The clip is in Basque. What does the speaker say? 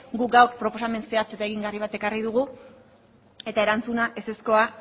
guk gaur proposamen zehatz eta egingarri bat ekarri dugu eta erantzuna ezekoa